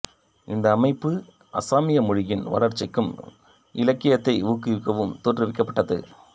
இந்த அமைப்பு அசாமிய மொழியின் வளர்ச்சிக்கும் இலக்கியத்தை ஊக்குவிக்கவும் தோற்றுவிக்கப்பட்டது